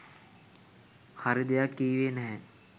හරි දෙයක් කීවේ නැහැ.